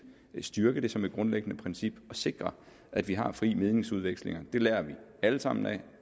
styrke den som et grundlæggende princip og sikre at vi har fri meningsudveksling det lærer vi alle sammen af